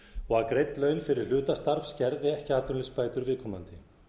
og að greidd laun fyrir hlutastarf skerði ekki atvinnuleysisbætur viðkomandi